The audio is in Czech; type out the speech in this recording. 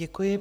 Děkuji.